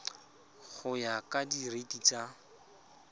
go ya ka direiti tsa